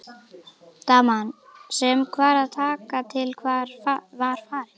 Daman sem var að taka til var farin.